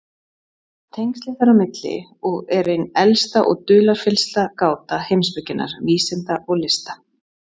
Tengslin þar á milli og er ein elsta og dularfyllsta gáta heimspekinnar, vísinda og lista.